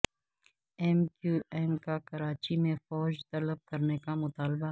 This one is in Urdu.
ایم کیو ایم کا کراچی میں فوج طلب کرنے کا مطالبہ